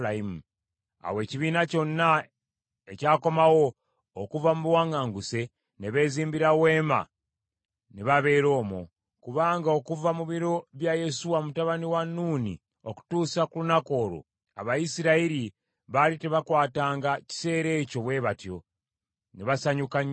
Awo ekibiina kyonna ekyakomawo okuva mu buwaŋŋanguse, ne beezimbira weema ne babeera omwo; kubanga okuva mu biro bya Yesuwa mutabani wa Nuuni okutuusa ku lunaku olwo, Abayisirayiri baali tebakwatanga kiseera ekyo bwe batyo. Ne basanyuka nnyo nnyini.